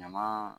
Ɲaman